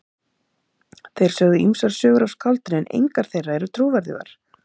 Þeir sögðu ýmsar sögur af skáldinu en engar þeirra eru trúverðugar.